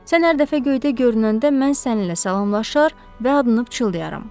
Sən hər dəfə göydə görünəndə mən səninlə salamlaşar və adını pıçıldayaram.